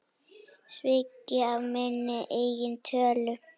Svikinn af minni eigin tölu.